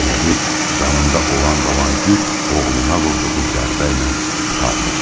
Elə bil canında olan qalan güc oğluna vurduğu zərbə ilə qurtarmışdı.